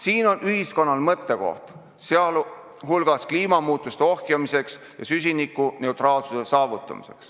Siin on ühiskonnal mõttekoht, pidades silmas ka vajadust kliimamuutusi ohjeldada ja süsinikuneutraalsus saavutada.